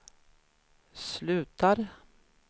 slutar